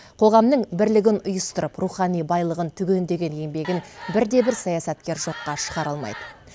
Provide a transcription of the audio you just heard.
қоғамның бірлігін ұйыстырып рухани байлығын түгендеген еңбегін бірде бір саясаткер жоққа шығара алмайды